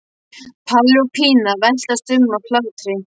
Palli og Pína veltast um af hlátri.